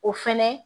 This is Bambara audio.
O fɛnɛ